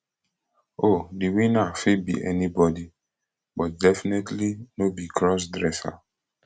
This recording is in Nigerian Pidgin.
oh di winner fit be anybody but definitely no be crossdresser